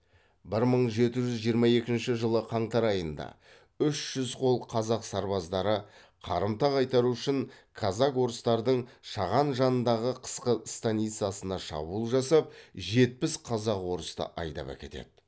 бір мың жеті жүз жиырма екінші жылы қаңтар айында үш жүз қол қазақ сарбаздары қарымта қайтару үшін казак орыстардың шаған жанындағы қысқы станицасына шабуыл жасап жетпіс қазақ орысты айдап әкетеді